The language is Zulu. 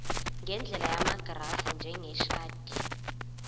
ngendlela yamagrafu njengeshadi